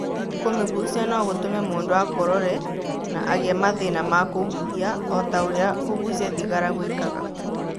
Kũmĩgucia no gũtũme mũndũ akorore, na agĩe mathĩĩna ma kũhuhia o ta ũrĩa kũgucia thigara gwĩkaga.